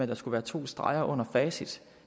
der skulle være to streger under facit